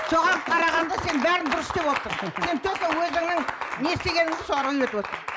соған қарағанда сен бәрін дұрыс істеп отырсың сен только өзіңнің не істегеніңді соларға үйретіп отырсың